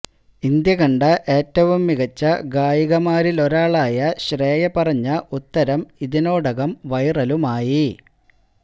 India കണ്ട ഏറ്റവും മികച്ച ഗായികമാരിലൊരാളായ ശ്രേയ പറഞ്ഞ ഉത്തരം ഇതിനോടകം വൈറലുമായി